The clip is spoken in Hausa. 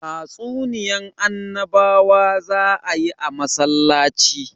Tatsuniyan annabawa za a yi a masallaci